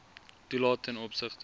toelae ten opsigte